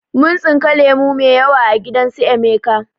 Mun tsinka lemo mai yawa a gidan su emeka